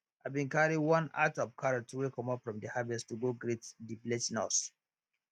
i bin carry one at of carrots wey comot from de harvest to go greet de village nurse